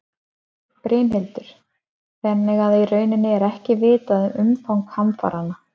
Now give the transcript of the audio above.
Brynhildur: Þannig að í rauninni er ekki vitað um umfang hamfaranna?